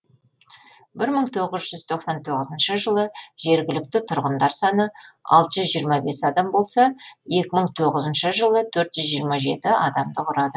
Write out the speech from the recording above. бір мың тоғыз жүз тоқсан тоғызыншы жылы жергілікті тұрғындар саны алты жүз жиырма бес адам болса екі мың тоғызыншы жылы төрт жүз жиырма жеті адамды құрады